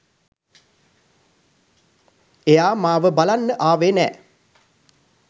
එයා මාව බලන්න ආවේ නෑ